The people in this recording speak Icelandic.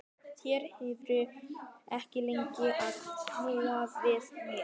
Þeir yrðu ekki lengi að snúa við mér baki.